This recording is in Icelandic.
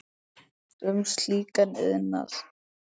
um slíkan iðnað.